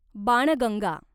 Banganga